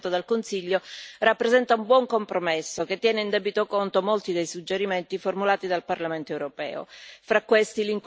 Il testo negoziato dal Consiglio rappresenta un buon compromesso che tiene in debito conto molti dei suggerimenti formulati dal Parlamento europeo.